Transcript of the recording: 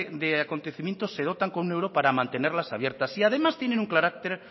de acontecimientos se dotan con un euro para mantenerlas abiertas y además tienen un carácter